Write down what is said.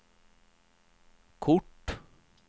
kort